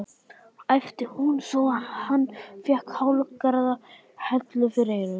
æpti hún svo hann fékk hálfgerða hellu fyrir eyrun.